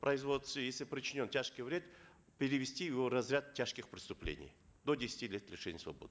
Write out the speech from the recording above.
производстве если причинен тяжкий вред перевести его в разряд тяжких преступлений до десяти лет лишения свободы